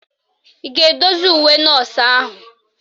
Ị ga-edozi uwe nọọsụ ahụ?